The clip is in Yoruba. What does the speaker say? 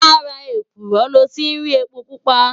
Làrá ékúrò lò ti n ri épó púpá